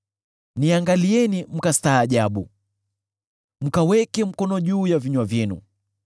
Niangalieni mkastaajabu; mkaweke mkono juu ya vinywa vyenu.